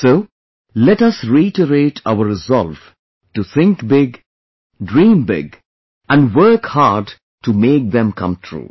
So, let us reiterate our resolve to think big, dream big, and work hard to make them come true